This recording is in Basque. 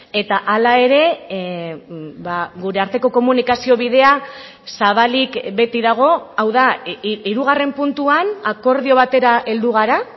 eta hala ere gure arteko komunikazio bidea zabalik beti dago hau da hirugarren puntuan akordio batera heldu gara